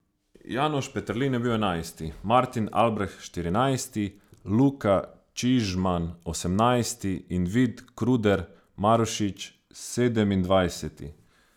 Janoš Peterlin je bil enajsti, Martin Albreht štirinajsti, Luka Čižman osemnajsti in Vid Kruder Marušič sedemindvajseti.